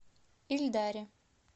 ильдаре